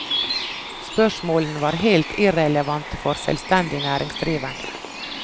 Spørsmålene var helt irrelevante for selvstendig næringsdrivende.